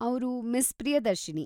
ಅವ್ರು ಮಿಸ್ ಪ್ರಿಯದರ್ಶಿನಿ.